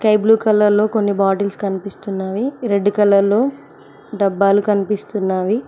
Blue colour లో కొన్ని bottles కనిపిస్తున్నావి రెడ్ కలర్లో డబ్బాలు కనిపిస్తున్నావి.